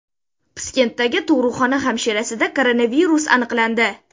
Piskentdagi tug‘ruqxona hamshirasida koronavirus aniqlandi.